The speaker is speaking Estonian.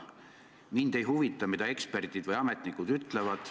Mind ei huvita, mida eksperdid või ametnikud ütlevad.